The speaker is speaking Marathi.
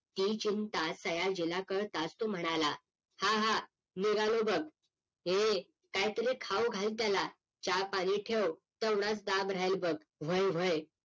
ही चिंता सयाजीला कळताच तो म्हणाला हा हा निघालो बघ हे काही तारी खाऊ घाल त्याला चहा पाणी ठेव तेवढाच दाब राहील बघ व्हय व्हय